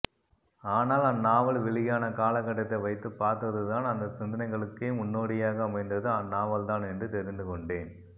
ஆனால் அந்நாவல் வெளியான காலகட்டத்தை வைத்துப்பார்த்துதான் அந்த சிந்தனைகளுக்கே முன்னோடியாக அமைந்தது அந்நாவல்தான் என்று தெரிந்துகொண்டேன்